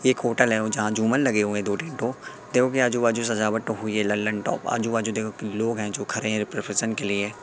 एक होटल है वो जहां झूमर लगे हुए है दो तीन तो। देखोकी आजू बाजू सजावट हुई है ललंटॉप । आजू बाजू देखो की लोग है जो खरे है प्रोफेशन के लिए।